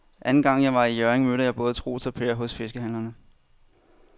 Anden gang jeg var i Hjørring, mødte jeg både Troels og Per hos fiskehandlerne.